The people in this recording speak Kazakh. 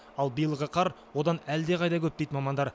ал биылғы қар одан әлдеқайда көп дейді мамандар